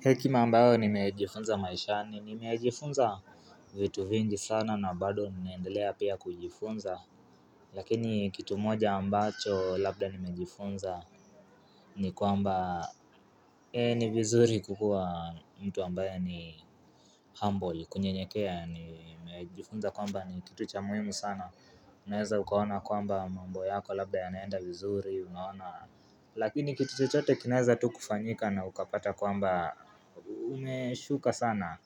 Hekima ambayo nimejifunza maishani nimejifunza vitu vingi sana na bado naendelea pia kujifunza Lakini kitu moja ambacho labda nimejifunza ni kwamba NI ni vizuri kukua mtu ambaye ni humble kunyenyekea nimejifunza kwamba ni kitu cha muhimu sana Unaeza ukaona kwamba mambo yako labda yanaenda vizuri unaona Lakini kitu chote kinaeza tu kufanyika na ukapata kwamba Unesuka sana